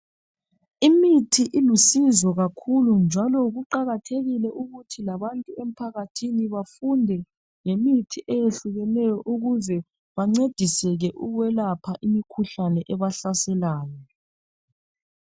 imithi ilusizo kakhulu njalo kuqhakathekile ukuthi labantu emphakathini bafunde ngemithi ehlukeneyo ukuze bancediseke ukwelapha imikhuhlane ebahlaselayo